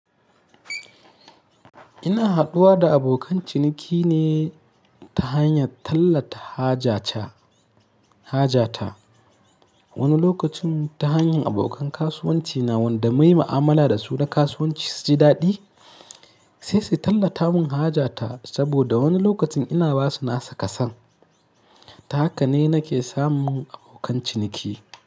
Ina haduwa da abokan ciniki ne ta hanyar tallata haja ta. Wani lokacin ta hanyar abokan kasuwanci na wanda munyi ma'amala da su na kasuwanci su ji daɗi, sai su tallata mun haja ta. Saboda wani lokacin ina basu nasu kason. Ta haka ne nake samun abokan ciniki.